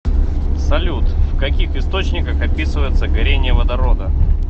салют в каких источниках описывается горение водорода